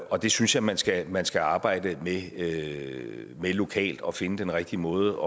og det synes jeg man skal man skal arbejde med lokalt og finde den rigtige måde